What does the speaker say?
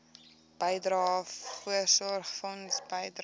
bydrae voorsorgfonds bydrae